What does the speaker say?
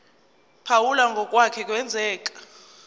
phawula ngokwake kwenzeka